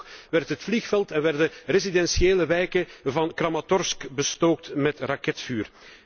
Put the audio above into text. En vandaag nog werd het vliegveld en werden residentiële wijken van Kramatorsk bestookt met raketvuur.